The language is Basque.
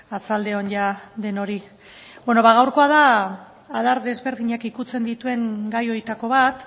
arratsalde on jada denoi beno ba gaurkoa da adar desberdinak ukitzen dituen gai horietako bat